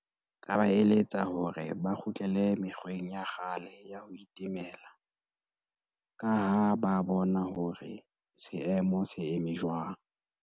Nka ba eletsa hore ba kgutlele mekgweng ya kgale ya ho itemela, ka ha ba bona hore seemo se eme jwang.